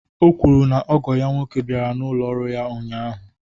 O kwuru na ogo ya nwoke bịara n'ụlọ ọrụ ya ụnyahụ